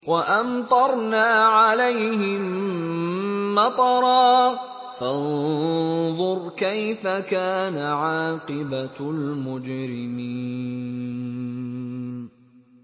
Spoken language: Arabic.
وَأَمْطَرْنَا عَلَيْهِم مَّطَرًا ۖ فَانظُرْ كَيْفَ كَانَ عَاقِبَةُ الْمُجْرِمِينَ